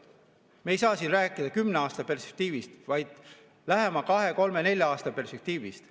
Me ei saa siin rääkida kümne aasta perspektiivist, vaid peame rääkima lähema kahe, kolme, nelja aasta perspektiivist.